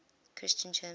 christian terms